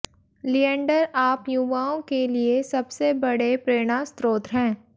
लिएंडर आप युवाओं के लिए सबसे बड़े प्रेरणास्रोत हैं